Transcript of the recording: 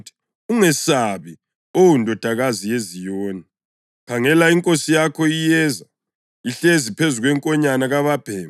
“Ungesabi, Oh Ndodakazi yeZiyoni; khangela, inkosi yakho iyeza, ihlezi phezu kwenkonyane kababhemi.” + 12.15 UZakhariya 9.9